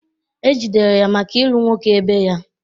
E jidere ya maka ịlụ nwoke ebe ya